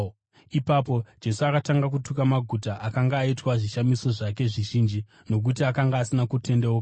Ipapo Jesu akatanga kutuka maguta akanga aitwa zvishamiso zvake zvizhinji, nokuti akanga asina kutendeuka.